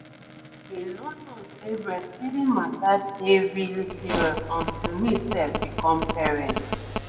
i bin no know say breastfeeding mata dey really serious until me sef become parent.